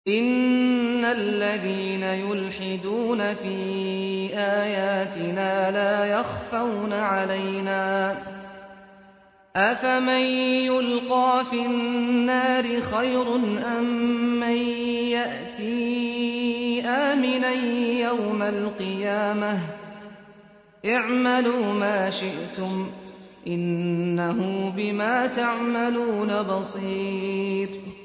إِنَّ الَّذِينَ يُلْحِدُونَ فِي آيَاتِنَا لَا يَخْفَوْنَ عَلَيْنَا ۗ أَفَمَن يُلْقَىٰ فِي النَّارِ خَيْرٌ أَم مَّن يَأْتِي آمِنًا يَوْمَ الْقِيَامَةِ ۚ اعْمَلُوا مَا شِئْتُمْ ۖ إِنَّهُ بِمَا تَعْمَلُونَ بَصِيرٌ